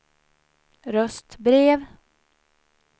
röstbrev